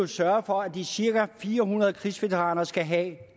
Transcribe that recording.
sørge for at de cirka fire hundrede krigsveteraner skal have